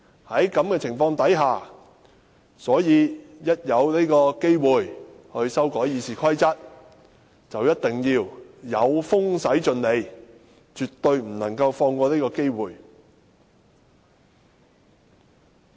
在這種情況下，他們見有風就一定會駛盡 𢃇， 一旦可以修改《議事規則》，絕對不會放過這個機會。